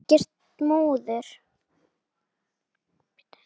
Svona, ekkert múður.